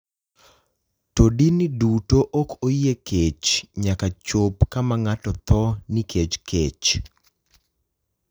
To dini duto ok oyie kech nyaka chop kama ng’ato tho nikech kech.